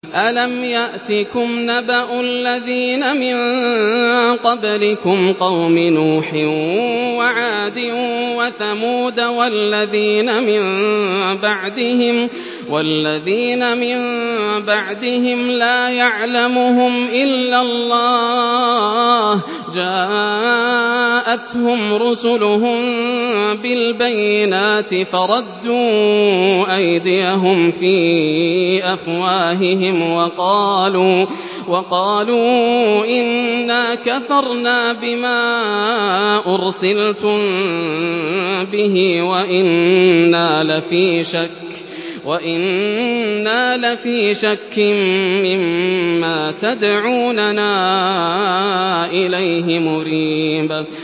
أَلَمْ يَأْتِكُمْ نَبَأُ الَّذِينَ مِن قَبْلِكُمْ قَوْمِ نُوحٍ وَعَادٍ وَثَمُودَ ۛ وَالَّذِينَ مِن بَعْدِهِمْ ۛ لَا يَعْلَمُهُمْ إِلَّا اللَّهُ ۚ جَاءَتْهُمْ رُسُلُهُم بِالْبَيِّنَاتِ فَرَدُّوا أَيْدِيَهُمْ فِي أَفْوَاهِهِمْ وَقَالُوا إِنَّا كَفَرْنَا بِمَا أُرْسِلْتُم بِهِ وَإِنَّا لَفِي شَكٍّ مِّمَّا تَدْعُونَنَا إِلَيْهِ مُرِيبٍ